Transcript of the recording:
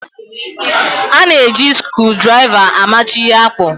A na-eji skrudraịva amachi ihe akpụ.